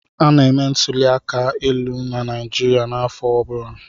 Ana-eme ntụli aka elu na Naịjirịa n'afọ ọ bụla.